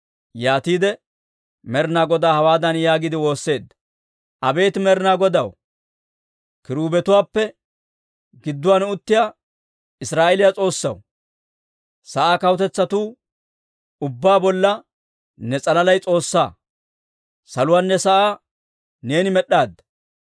Yaatiide Med'ina Godaa hawaadan yaagiide woosseedda; «Abeet Med'ina Godaw, kiruubetuwaappe gidduwaan uttiyaa Israa'eeliyaa S'oossaw, sa'aa kawutetsatuu ubbaa bolla ne s'alalay S'oossaa. Saluwaanne sa'aa neeni med'd'aadda.